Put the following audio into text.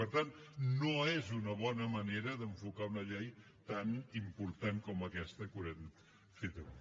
per tant no és una bona manera d’enfocar una llei tan important com aquesta que haurem fet avui